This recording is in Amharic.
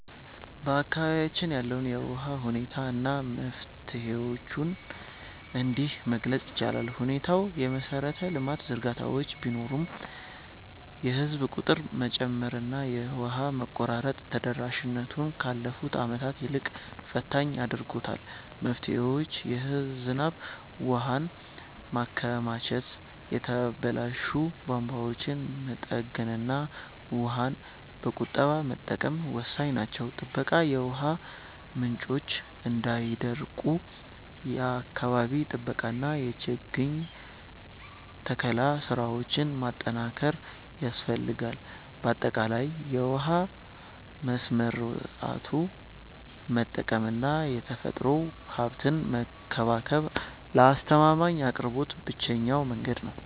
በአካባቢያችን ያለውን የውሃ ሁኔታ እና መፍትሄዎቹን እንዲህ መግለፅ ይቻላል፦ ሁኔታው፦ የመሰረተ ልማት ዝርጋታዎች ቢኖሩም፣ የህዝብ ቁጥር መጨመርና የውሃ መቆራረጥ ተደራሽነቱን ካለፉት ዓመታት ይልቅ ፈታኝ አድርጎታል። መፍትሄዎች፦ የዝናብ ውሃን ማከማቸት፣ የተበላሹ ቧንቧዎችን መጠገንና ውሃን በቁጠባ መጠቀም ወሳኝ ናቸው። ጥበቃ፦ የውሃ ምንጮች እንዳይደርቁ የአካባቢ ጥበቃና የችግኝ ተከላ ስራዎችን ማጠናከር ያስፈልጋል። ባጠቃላይ፣ ውሃን በስርዓቱ መጠቀምና የተፈጥሮ ሀብትን መንከባከብ ለአስተማማኝ አቅርቦት ብቸኛው መንገድ ነው።